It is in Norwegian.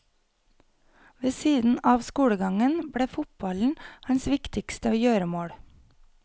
Ved siden av skolegangen ble fotballen hans viktigste gjøremål.